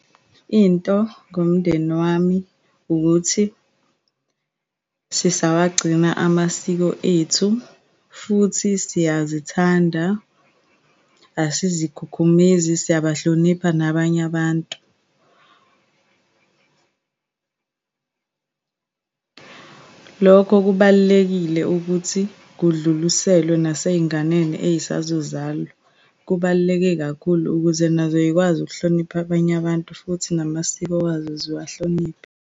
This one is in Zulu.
Into ngomndeni wami wukuthi sisawagcina amasiko ethu, futhi siyazithanda, asizikhukhumezi, siyabahlonipha nabanye abantu. Lokho kubalulekile ukuthi kudluliselwe naseyinganeni eyisazozalwa. Kubaluleke kakhulu ukuze nazo yikwazi ukuhlonipha abanye abantu, futhi namasiko wazo ziwahloniphe.